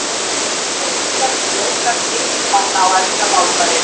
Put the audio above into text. Málbreytingar sljóvga skilning manna á eldra málfari.